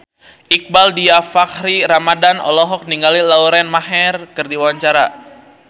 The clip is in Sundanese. Iqbaal Dhiafakhri Ramadhan olohok ningali Lauren Maher keur diwawancara